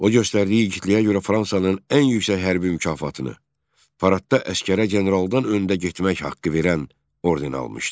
O göstərdiyi igidliyə görə Fransanın ən yüksək hərbi mükafatını, paradda əsgərə generaldan öndə getmək haqqı verən orden almışdı.